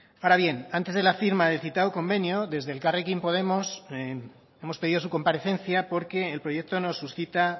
ahora bien antes de la firma del citado convenio desde elkarrekin podemos hemos pedido su comparecencia porque el proyecto nos suscita